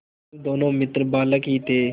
जब दोनों मित्र बालक ही थे